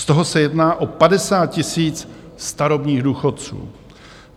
Z toho se jedná o 50 000 starobních důchodců.